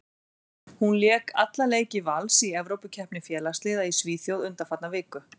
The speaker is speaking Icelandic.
Hún lék alla leiki Vals í Evrópukeppni félagsliða í Svíþjóð undanfarna viku.